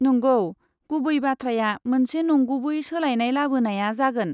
नंगौ, गुबै बाथ्राया मोनसे नंगुबै सोलायनाय लाबोनाया जागोन।